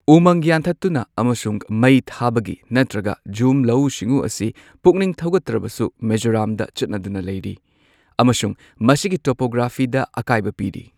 ꯎꯃꯪ ꯌꯥꯟꯊꯠꯇꯨꯅ ꯑꯃꯁꯨꯡ ꯃꯩ ꯊꯥꯕꯒꯤ ꯅꯠꯇ꯭ꯔꯒ ꯓꯨꯝ ꯂꯧꯎ ꯁꯤꯡꯎ ꯑꯁꯤ ꯄꯨꯛꯅꯤꯡ ꯊꯧꯒꯠꯇ꯭ꯔꯕꯁꯨ ꯃꯤꯖꯣꯔꯥꯝꯗ ꯆꯠꯅꯗꯨꯅ ꯂꯩꯔꯤ ꯑꯃꯁꯨꯡ ꯃꯁꯤꯒꯤ ꯇꯣꯄꯣꯒ꯭ꯔꯥꯐꯤꯗ ꯑꯀꯥꯏꯕ ꯄꯤꯔꯤ꯫